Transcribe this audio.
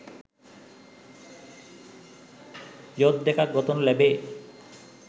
යොත් දෙකක් ගොතනු ලැබේ